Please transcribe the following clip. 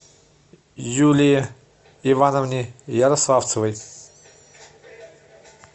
юлии ивановне ярославцевой